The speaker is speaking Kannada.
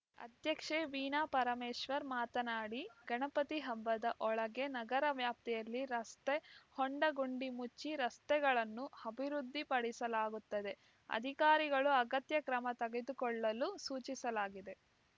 ಅಧ್ಯಕ್ಷೆ ವೀಣಾ ಪರಮೇಶ್ವರ್‌ ಮಾತನಾಡಿ ಗಣಪತಿ ಹಬ್ಬದ ಒಳಗೆ ನಗರವ್ಯಾಪ್ತಿಯಲ್ಲಿ ರಸ್ತೆ ಹೊಂಡಗುಂಡಿ ಮುಚ್ಚಿ ರಸ್ತೆಗಳನ್ನು ಅಭಿವೃದ್ಧಿಪಡಿಸಲಾಗುತ್ತದೆ ಅಧಿಕಾರಿಗಳು ಅಗತ್ಯ ಕ್ರಮ ತೆಗೆದುಕೊಳ್ಳಲು ಸೂಚಿಸಲಾಗಿದೆ